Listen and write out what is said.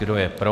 Kdo je pro?